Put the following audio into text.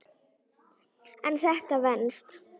En þetta venst.